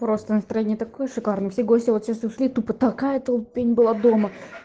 просто настроение такое шикарное все гости вот сейчас ушли тупо такая толпень была дома